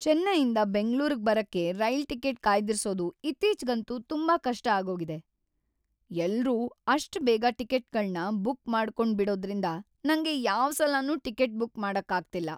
ಚೆನ್ನೈಯಿಂದ ಬೆಂಗ್ಳೂರ್ಗ್‌ ಬರಕ್ಕೆ rail ticket ಕಾಯ್ದಿರ್ಸೋದು ಇತ್ತೀಚ್ಗಂತೂ ತುಂಬಾ ಕಷ್ಟ ಆಗೋಗಿದೆ. ಎಲ್ರೂ ಅಷ್ಟ್‌ ಬೇಗ ಟಿಕೆಟ್ಗಳ್ನ ಬುಕ್ ಮಾಡ್ಕೊಂಡ್ಬಿಡೋದ್ರಿಂದ ನಂಗೆ ಯಾವ್‌ ಸಲನೂ ಟಿಕೆಟ್‌ ಬುಕ್‌ ಮಾಡಕ್ಕಾಗ್ತಿಲ್ಲ.